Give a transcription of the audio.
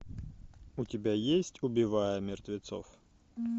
у тебя есть убивая мертвецов